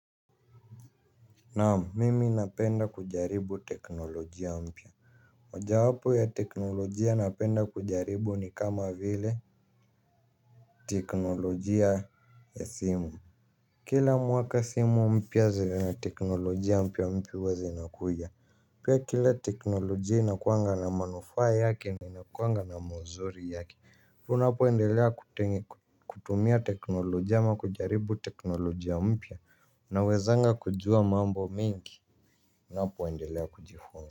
Naam mimi napenda kujaribu teknolojia mpya. Mojawapo ya teknolojia napenda kujaribu ni kama vile teknolojia ya simu. Kila mwaka simu mpya zina teknolojia mpya mpya huwa zinakuja. Pia kila teknolojia inakuanga na manufaa yake na inakuanga na mazuri yake. Tunapoendelea kutumia teknolojia ama kujaribu teknolojia mpya nawezanga kujua mambo mengi ninapoendelea kujifunza.